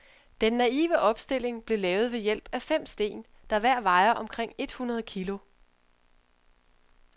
Den naive opstilling blev lavet ved hjælp af fem sten, der hver vejer omkring et hundrede kilo.